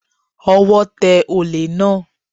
Ọwọ́ tẹ olè náà